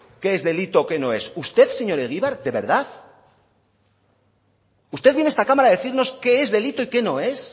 qué es delito o qué no es usted señor egibar de verdad usted viene a esta cámara a decirnos qué es delito y qué no es